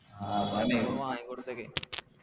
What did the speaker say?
ആ അപ്പൊ വാങ്ങിക്കൊടുത്തേക്ക്